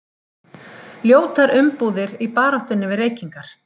Ljótar umbúðir í baráttunni við reykingar